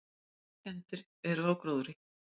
Miklar skemmdir eru á gróðri.